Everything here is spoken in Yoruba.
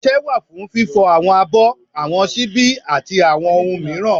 ọṣẹ wa fún fífo awọn abọ́, awọn ṣíbi ati awọn ohun miiran.